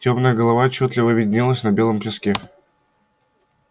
тёмная голова отчётливо виднелась на белом песке